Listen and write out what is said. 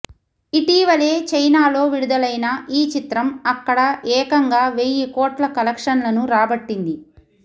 ఇటీవలే చైనాలో విడుదలైన ఈ చిత్రం అక్కడ ఏకంగావెయ్యి కోట్ల కలెక్షన్లను రాబట్టింది